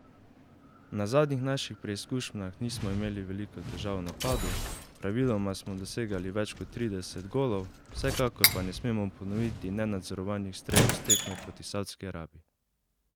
Na zadnjih naših preizkušnjah nismo imeli veliko težav v napadu, praviloma smo dosegali več kot trideset golov, vsekakor pa ne smemo ponoviti nenadzorovanih strelov s tekme proti Savdski Arabiji.